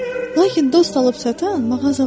Lakin dost alıb satan mağazalar yoxdur.